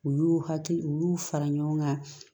U y'u hakili fara ɲɔgɔn kan